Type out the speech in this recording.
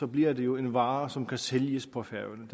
bliver det jo en vare som kan sælges på færøerne